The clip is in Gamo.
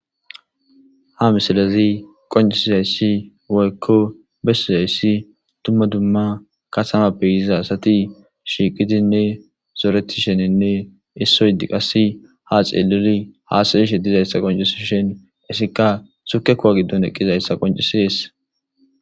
Ha misilazi qoncisizayssi woykko bessizayssi tumma dumma kasamappe yiza asati shiiqidinne zooreti sheninne issoy di qasi ha xeeluli haasayishe dizayssa qoncis shen issikka sukekuwa giddon eqqizayssa qoncisees.